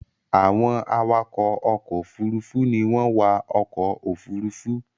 Àwọn iwakọ ọkọ òfurufú ní wón wá ọkọ òfurufú